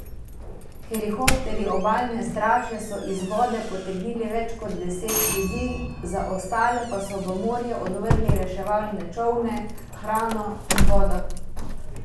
Helikopterji obalne straže so iz vode potegnili več kot deset ljudi, za ostale pa so v morje odvrgli reševalne čolne, hrano in vodo.